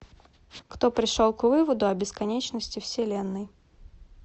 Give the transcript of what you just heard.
кто пришел к выводу о бесконечности вселенной